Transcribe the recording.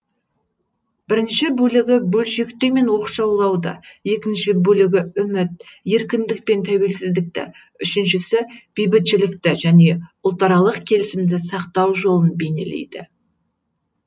бірінші бөлігі бөлшектеу мен оқшаулауды екінші бөлігі үміт еркіндік пен тәуелсіздікті үшіншісі бейбітшілікті және ұлтаралық келісімді сақтау жолын бейнелейді